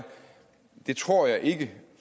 det tror jeg ikke